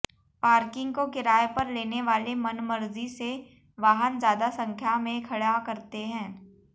parking को किराए पर लेने वाले मनमर्जी से वाहन ज्यादा संख्या में खड़ा करते हैं